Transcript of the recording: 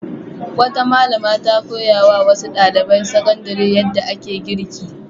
Wata malama ta koya wa wasu ɗaliban sakandare yadda ake girki.